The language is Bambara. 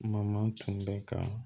Kuma ma tunu bɛ ka